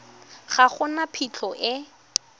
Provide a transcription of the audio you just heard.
ga go na phitlho e